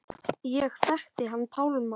Ég þekkti hann Pálma.